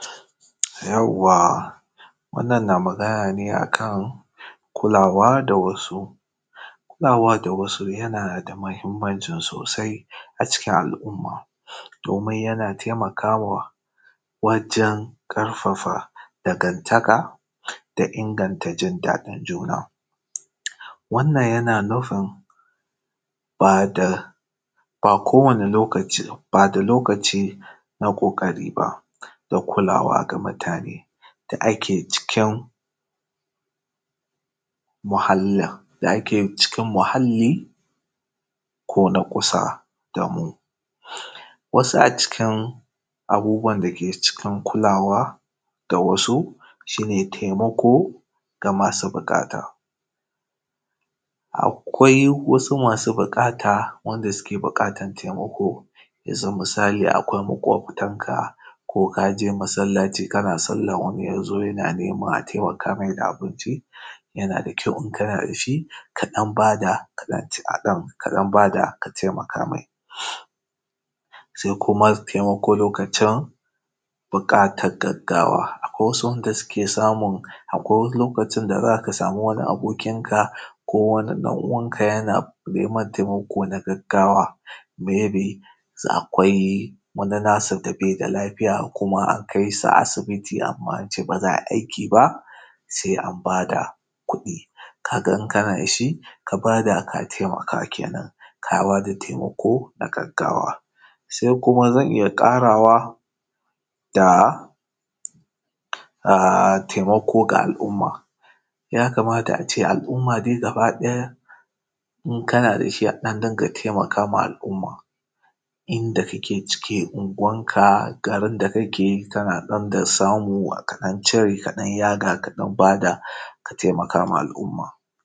Yawwa! Wannan na magana ne a kan kulawa da wasu. Kulawa da wasu yana da muhimmanci sosai a cikin al’umma, domin yana taimakawa wajen ƙarfafa dangantaka, da inganta jin daɗin juna. Wannan yana nufin, ba da, ba kowane lokaci, ba da lokaci na ƙoƙari ba, da kulawa da mutane, da ake cikin, muhallin, da ake cikin muhalli, ko na kusa da mu. Wasu a cikin abubuwan da ke cikin kulawa da wasu, shi ne taimako ga masu buƙata. Akwai wasu masu buƙata wanda suke buƙatan taimako, yanzu misali akwai maƙwabtanka, ko ka je masallaci kana salla wani ya zo yana nema a taimaka mai da abinci, yana da kyau in kana da shi, ka ɗan ba da, ka ɗan ce a ɗan, ka ɗan ba da ka taimaka mai. Sai kuma taimako lokacin buƙatar gaggawa. Akwai wasu wanda suke samun, akwai lokacin da za ka samu abokinka, ko wani ɗan’uwanka yana neman taimako na gaggawa, may be za akwai wani nasa da bai da lafiya kuma a kai sa asibiti amma ba za a yi aiki ba, sai an ba da kuɗi. Ka ga in kana da shi, k aba da ka taimaka ke nan, ka ba da taimako, na gaggawa. Sai kuma zan iya ƙarawa da, a, taimako ga al’umma. Ya kamata a ce al’umma dai gabaɗaya, in kana da shi a ɗan dinga taimaka ma al’umma, inda kake ciki, Unguwanka, garin da kake, kana ɗan da samu ka ɗan cire ka yaga ka ɗan ba da ka taimaka ma al’umma.